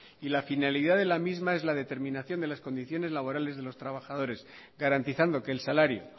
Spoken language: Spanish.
mismos y la finalidad de la misma es la determinación de las condiciones laborales de los trabajadores garantizando que el salario